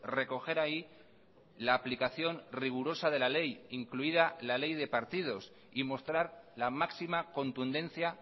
recoger ahí la aplicación rigurosa de la ley incluida la ley de partidos y mostrar la máxima contundencia